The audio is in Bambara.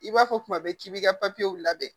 I b'a fɔ kuma bɛɛ k'i b'i ka papiyew labɛn